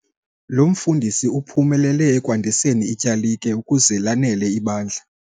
Lo mfundisi uphumelele ekwandiseni ityalike ukuze lanele ibandla.